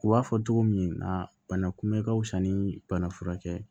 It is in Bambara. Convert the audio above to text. U b'a fɔ togo min na bana kunbɛ ka fisa ni banafurakɛ ye